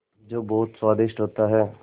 जो बहुत स्वादिष्ट होता है